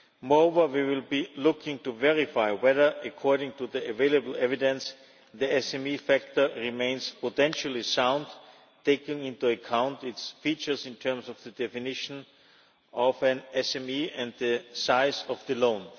Moreover, we will be looking to verify whether, according to the available evidence, the SME factor remains potentially sound, taking into account its features in terms of the definition of an SME and the size of the loan.